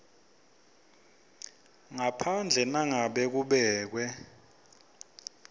ngaphandle nangabe kubekwe